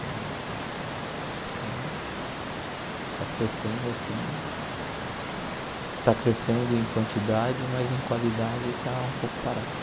Então, está crescendo assim, está crescendo em quantidade, mas em qualidade está um pouco parado.